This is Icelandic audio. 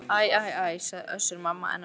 Æ æ æ, sagði Össur-Mamma enn á ný.